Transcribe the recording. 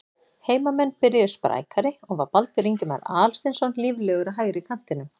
Heimamenn byrjuðu sprækari og var Baldur Ingimar Aðalsteinsson líflegur á hægri kantinum.